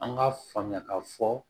An k'a faamuya k'a fɔ